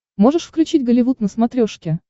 можешь включить голливуд на смотрешке